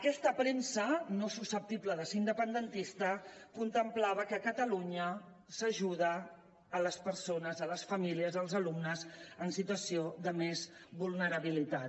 aquesta premsa no susceptible de ser independentista contemplava que a catalunya s’ajuden les persones les famílies els alumnes en situació de més vulnerabilitat